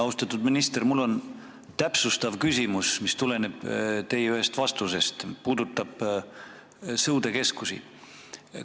Austatud minister, mul on täpsustav küsimus, mis tuleneb teie ühest vastusest ja puudutab sõudekeskusi.